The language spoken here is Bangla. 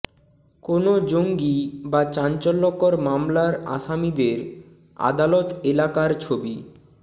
কোনো জঙ্গি বা চাঞ্চল্যকর মামলার আসামিদের আদালত এলাকার ছবি